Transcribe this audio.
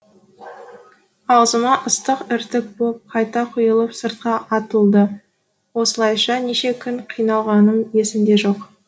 аузыма ыстық іртік боп қайта құйылып сыртқа атылды осылайша неше күн қиналғаным есімде жоқ